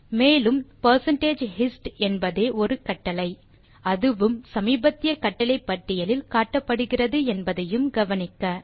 மேலும் hist என்பதே ஒரு கட்டளை அதுவும் சமீபத்திய கட்டளை பட்டியலில் காட்டப்படுகிறது என்பதையும் கவனிக்கவும்